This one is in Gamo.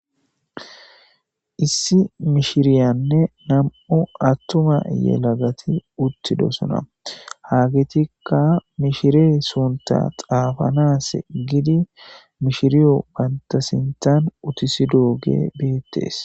Issi mishiriyanne nam'o attuma yelagati uttidosona haagetikka mishire sunta xaafanas gidi mishiriyo banta sintan utisidooge beettees